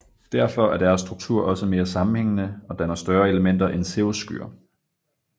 Derfor er deres struktur også mere sammenhængende og danner større elementer end cirrusskyer